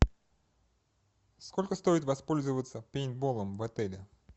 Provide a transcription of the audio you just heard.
сколько стоит воспользоваться пейнтболом в отеле